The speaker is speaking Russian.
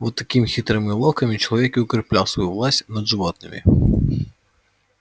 вот такими хитрыми уловками человек и укреплял свою власть над животными